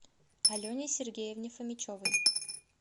алене сергеевне фомичевой